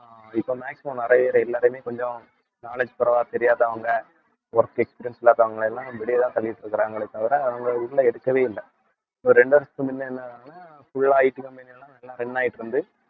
அஹ் இப்ப maximum நிறைய இருக்கு எல்லாரையுமே கொஞ்சம் knowledge கூடவா தெரியாதவங்க work experience இல்லாதவங்களை எல்லாம் வெளியேதான் தள்ளிட்டு இருக்கிறாங்களே தவிர அவங்க உள்ள எடுக்கவே இல்லை, ஒரு ரெண்டு வருஷத்துக்கு முன்ன என்னதுன்னா full ஆ IT company எல்லாம் நல்லா run ஆயிட்டு இருந்து